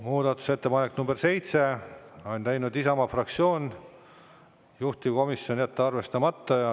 Muudatusettepanek nr 7, on teinud Isamaa fraktsioon, juhtivkomisjon: jätta arvestamata.